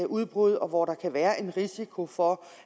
udbrud og hvor der kan være en risiko for